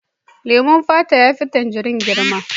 Leman fata ya fi tangirin girma.